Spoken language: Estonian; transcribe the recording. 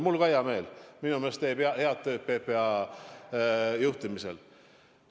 Ka mul on hea meel, minu meelest teeb ta PPA juhtimisel head töö.